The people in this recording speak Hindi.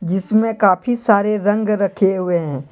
जिसमें काफी सारे रंग रखे हुए हैं।